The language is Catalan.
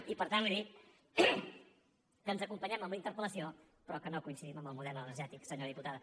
i per tant li dic que ens acompanyem amb la interpel·lació però que no coincidim en el model energètic senyora diputada